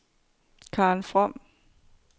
Karen From